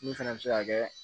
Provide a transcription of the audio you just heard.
Min fana bɛ se ka kɛ